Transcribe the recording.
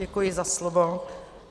Děkuji za slovo.